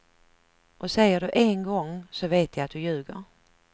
Och säger du en gång, så vet jag att du ljuger.